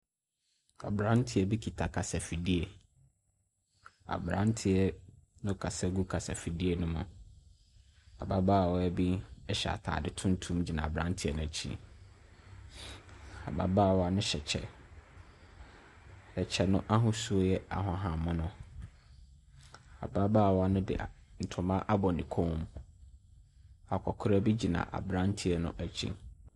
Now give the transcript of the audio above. Aberanteɛ bi kita kasafidie. Aberanteɛ no kasa gu kasafidie no mu. Ababaawa bi hyɛ atade tuntum gyina aberanteɛ no akyi. Ababaawa no hyɛ kyɛ. Kyɛ no ahosuo yɛ ahahan mono. Ababaawa no de a ntoma abɔ ne kɔn mu. Akɔkora bi gyina aberanteɛ no akyi.